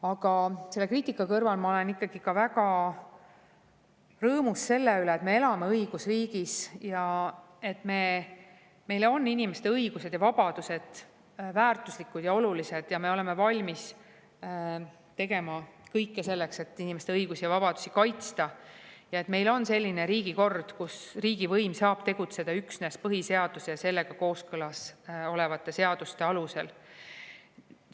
Aga selle kriitika kõrval ma olen ikkagi väga rõõmus selle üle, et me elame õigusriigis, et meile on inimeste õigused ja vabadused väärtuslikud ja olulised ning et me oleme valmis tegema kõik selleks, et inimeste õigusi ja vabadusi kaitsta, ja et meil on selline riigikord, kus riigivõim saab tegutseda üksnes põhiseaduse ja sellega kooskõlas olevate seaduste alusel.